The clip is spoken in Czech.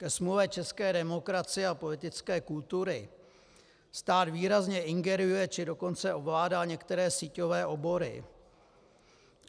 Ke smůle české demokracie a politické kultury stát výrazně ingeruje, či dokonce ovládá některé síťové obory.